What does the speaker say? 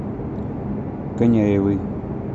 коняевой